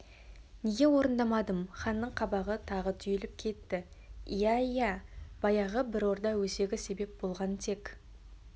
неге орындамадым ханның қабағы тағы түйіліп кетті иә иә баяғы бір орда өсегі себеп болған тек